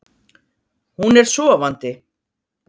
Hún er sofandi.